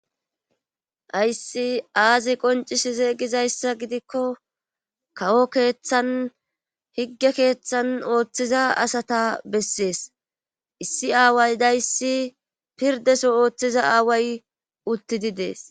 Ayssi aazi qoncis zeegizayssa gidikko kawo keeththan higge keeththan ooththiza asata bessees issi aaway dayssi pirdeso ooththiza aaway uttidi dees.